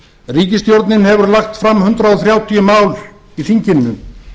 ríkisstjórnin hefur lagt fram hundrað þrjátíu mál í þinginu